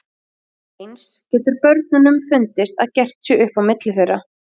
Eins getur börnunum fundist að gert sé upp á milli þeirra.